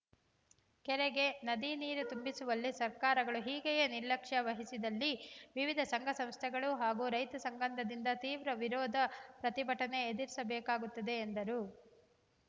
ಕೆರೆಗೆ ನದಿ ನೀರು ತುಂಬಿಸುವಲ್ಲಿ ಸರ್ಕಾರಗಳು ಹೀಗೆಯೇ ನಿರ್ಲಕ್ಷ್ಯ ವಹಿಸಿದಲ್ಲಿ ವಿವಿಧ ಸಂಘ ಸಂಸ್ಥೆಗಳು ಹಾಗೂ ರೈತ ಸಂಘದಿಂದ ತೀವ್ರ ವಿರೋಧ ಪ್ರತಿಭಟನೆ ಎದುರಿಸಬೇಕಾಗುತ್ತದೆ ಎಂದರು